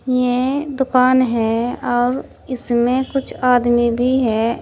ये दुकान है और इसमें कुछ आदमी भी है।